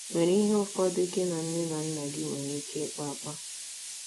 nwere ihe ụfọdụ gị na nne na nna gị nwere ike ịkpa akpa.